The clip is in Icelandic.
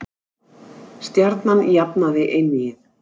Stjarnan jafnaði einvígið